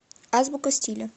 азбука стиля